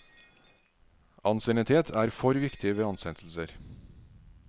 Ansiennitet er for viktig ved ansettelser.